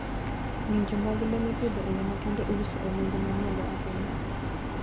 Ng'injo mag le mipidho e yo makende iuso e nengo ma malo ahinya.